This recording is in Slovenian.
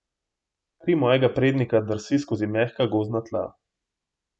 Kri mojega prednika drsi skozi mehka gozdna tla.